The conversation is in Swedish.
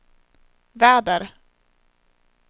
väder